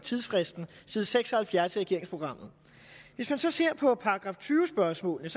tidsfristen side seks og halvfjerds i regeringsprogrammet hvis man så ser på § tyve spørgsmålene